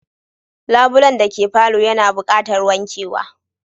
Labulen dake palour yana buqatar wankewa